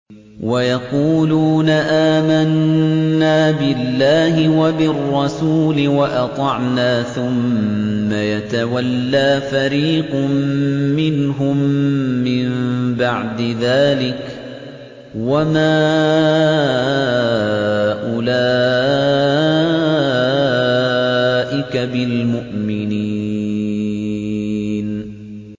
وَيَقُولُونَ آمَنَّا بِاللَّهِ وَبِالرَّسُولِ وَأَطَعْنَا ثُمَّ يَتَوَلَّىٰ فَرِيقٌ مِّنْهُم مِّن بَعْدِ ذَٰلِكَ ۚ وَمَا أُولَٰئِكَ بِالْمُؤْمِنِينَ